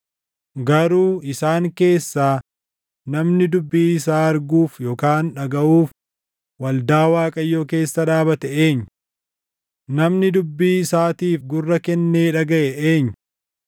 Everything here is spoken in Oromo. Garuu isaan keessaa namni dubbii isaa arguuf yookaan dhagaʼuuf waldaa Waaqayyoo keessa dhaabate eenyu? Namni dubbii isaatiif gurra kennee dhagaʼe eenyu?